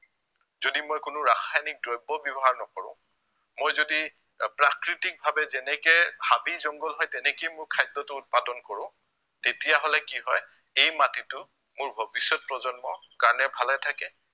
যদি মই কোনো ৰাসায়নিক দ্ৰব্য় ব্য়ৱহাৰ নকৰো, মই যদি আহ প্ৰকৃতিকভাৱে যেনেকে হাবি jungle হয় তেনেকে মোৰ খাদ্য়টো উৎপাদন কৰো তেতিয়াহলে কি হয় এই মাটিটো মোৰ ভৱিষ্য়ত প্ৰজন্ম কাৰণে ভালে থাকে